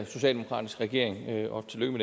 socialdemokratisk regering og tillykke